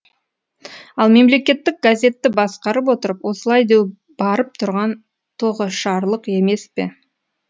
ал мемлекеттік газетті басқарып отырып осылай деу барып тұрған тоғышарлық емес пе